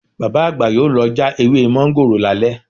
Bàbá àgbà yóò lọ já ewé mọ́ńgòrò lálẹ́